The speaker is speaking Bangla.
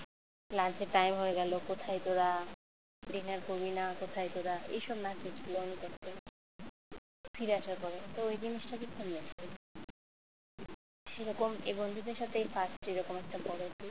lunch এর time হয়ে গেল কোথায় তোরা dinner করবি না কোথায় তোরা এইসব message গুলো উনি করতেন ফিরে আসার পরেও তো এই জিনিসটাকে সেরকম এই বন্ধুদের সাথে এই first এরকম একটা বড় tour